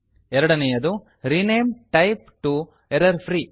ಎರಡನೇಯದು rename type T O error free